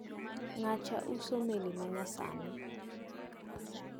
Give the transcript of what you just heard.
Ng`acha uso meli ma nyasani.